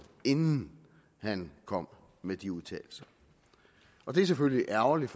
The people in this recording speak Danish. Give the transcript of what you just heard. inden han kom med de udtalelser og det er selvfølgelig ærgerligt